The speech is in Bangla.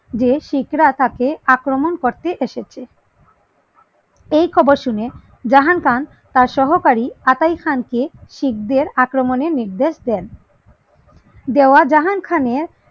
যে শিখরা তাকে আক্রমন করতে এসেছে এই খবর শুনে জাহাং খান তার সহকারী আকাই খানকে শিখ দের আক্রমনের নির্দেশ দেন